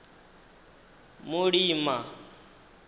mulima